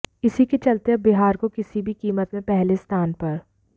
इसी के चलते अब बिहार को किसी भी कीमत में पहले स्थान पर